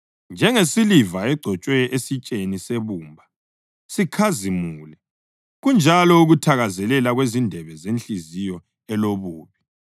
Njengesiliva egcotshwe esitsheni sebumba sikhazimule kunjalo ukuthakazelela kwezindebe zenhliziyo elobubi.